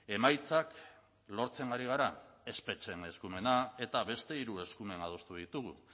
emaitzak lortzen ari gara espetxeen eskumena eta beste hiru eskumen adostu ditugu